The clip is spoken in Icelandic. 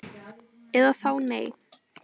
Eða þá nei